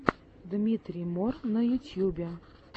дмитрий мор на ютьюбе